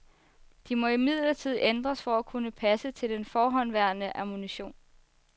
De må imidlertid ændres for at kunne passe til den forhåndenværende ammunition.